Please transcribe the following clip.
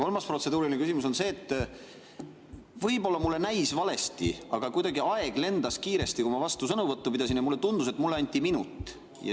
Kolmas protseduuriline küsimus on see, et võib-olla mulle näis valesti, aga kuidagi aeg lendas kiiresti, kui ma vastusõnavõttu pidasin, ja mulle tundus, et mulle anti minut.